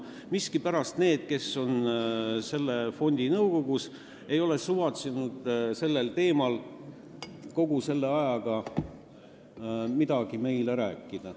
Miskipärast ei ole need, kes on selle fondi nõukogus, kogu selle aja jooksul suvatsenud meile sellel teemal midagi rääkida.